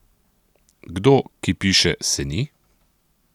Kdo, ki piše, se ni?